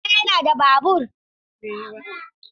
Eh babana yana da babur.